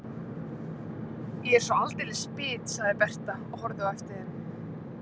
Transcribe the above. Ég er svo aldeilis bit, sagði Berta og horfði á eftir þeim.